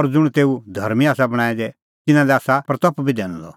और ज़ुंण तेऊ धर्मीं आसा बणांऐं दै तिन्नां लै आसा महिमां बी दैनी दी